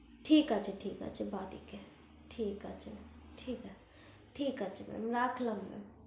ঠিক আছে ঠিক আছে বাড়িতে ঠিক আছে ঠিক mam আছে ঠিক আছে রাখলাম